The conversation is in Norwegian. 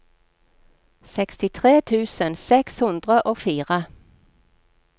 sekstitre tusen seks hundre og fire